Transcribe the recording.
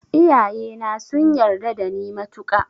Iyaye na sun yarda da ni matuka